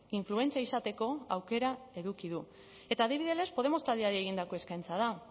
influentzia izateko aukera eduki du eta adibide lez podemos taldeari egindako eskaintza da